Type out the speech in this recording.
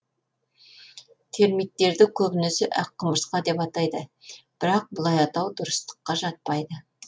термиттерді көбінесе ақ құмырсқа деп атайды бірақ бұлай атау дұрыстыққа жатпайды